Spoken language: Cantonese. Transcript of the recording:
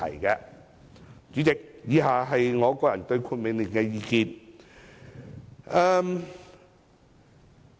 代理主席，以下是我個人對《命令》的意見。